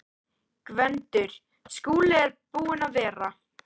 GVENDUR: Skúli er búinn að vera.